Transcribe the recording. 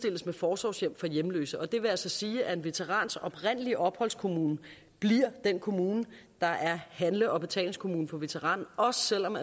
forsorgshjem for hjemløse og det vil altså sige at en veterans oprindelige opholdskommune bliver den kommune der er handle og betalingskommune for veteranen også selv om